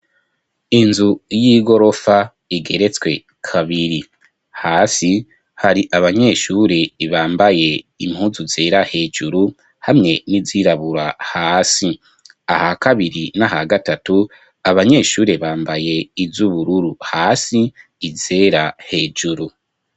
Inzu y'igorofa igeretswe kabiri hasi hari abanyeshure bambaye impuzu zera hejuru hamye n'izirabura hasi aha kabiri n'aha gatatu abanyeshure bambaye iz'ubururu hasi izera hejuru.